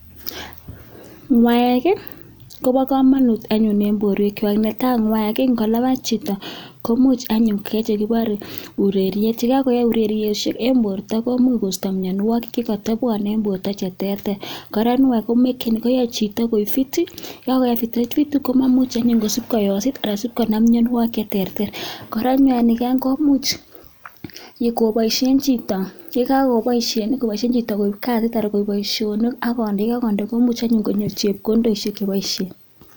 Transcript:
Ng'uaek ih koba kamanut en borwek Chak. Ingolaabat chito komuch koyai ureriet yekakoyai ireriosiek en borta ko ista miannuagik chekatobuane kora koyae chito koek fit ih komamuche koyosit Anan konam mianogig cheterteren kora yekakoboisien chito koib kasit ih komuche konyor chebkondok cheboisoen